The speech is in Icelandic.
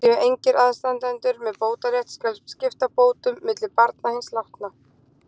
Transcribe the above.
Séu engir aðstandendur með bótarétt, skal skipta bótum milli barna hins látna.